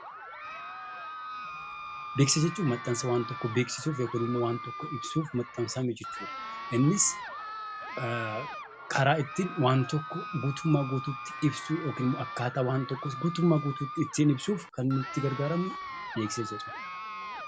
Beeksisa jechuun maxxansa waan tokkoo beeksisuuf yookiin immoo waan tokko ibsuuf maxxansamu jechuu dha. Innis karaa ittiin waan tokko guutummaa guutuutti ibsuu yookiin immoo akkaataa waan tokkos guutummaa guutuutti ittiin ibsuuf kan nuyi itti gargaaramnu 'Beeksisa' jedhama.